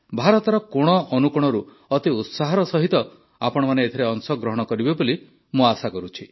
ଭାରତର କୋଣଅନୁକୋଣରୁ ଅତି ଉତ୍ସାହର ସହିତ ଆପଣମାନେ ଏଥିରେ ଅଂଶଗ୍ରହଣ କରିବେ ବୋଲି ଆଶା କରୁଛି